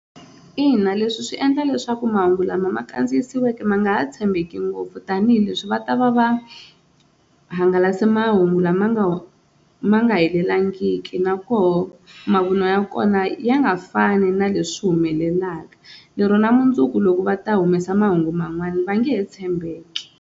Ina leswi swi endla leswaku mahungu lama ma kandziyisiweke ma nga ha tshembeki ngopfu tanihileswi va ta va va hangalase mahungu lama nga ma nga helelangiki nakoho mavunwa ya kona ya nga fani na leswi humelelaka lero na mundzuku loko va ta humesa mahungu man'wana va nge he tshembeki.